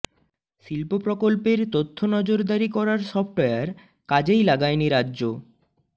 শিল্প প্রকল্পের তথ্য নজরদারি করার সফটওয়্যার কাজেই লাগায়নি রাজ্য